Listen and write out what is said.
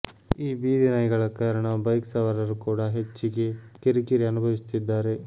ಈ ಬೀದಿ ನಾಯಿಗಳ ಕಾರಣ ಬೈಕ್ ಸವಾರರು ಕೂಡಾ ಹೆಚ್ಚಿಗೆ ಕಿರಿಕಿರಿ ಅನುಭವಿಸುತ್ತಿದ್ದಾರೆ